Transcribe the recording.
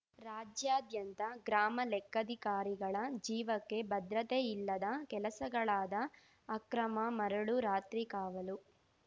ರಾಜ್ಯಾದ್ಯಂತ ಗ್ರಾಮ ಲೆಕ್ಕಾಧಿಕಾರಿಗಳ ಜೀವಕ್ಕೆ ಭದ್ರತೆ ಇಲ್ಲದ ಕೆಲಸಗಳಾದ ಅಕ್ರಮ ಮರಳು ರಾತ್ರಿ ಕಾವಲು